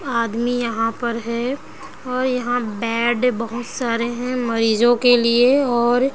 आदमी यहाँ पर है और यहाँ बेड बहुत सारे है मरीजों के लिए और --